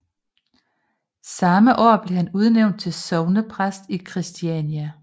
Samme år blev han udnævnt til sognepræst i Christiania